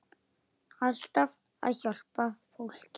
Alltaf að hjálpa fólki.